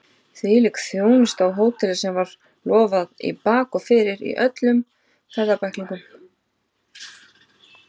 Hvílík þjónusta á hóteli sem var lofað í bak og fyrir í öllum ferðabæklingum!